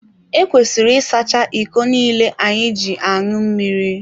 Ekwesịrị ịsacha iko niile anyị ji aṅụ mmiri.